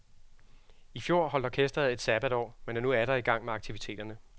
I fjor holdt orkestret et sabatår, men er nu atter i gang med aktiviteterne.